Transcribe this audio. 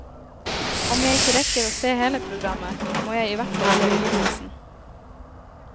Om jeg ikke rekker å se hele programmet, må jeg i hvert fall se begynnelsen.